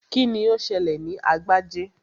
Kíni ó ṣẹlẹ̀ sí Agbájé?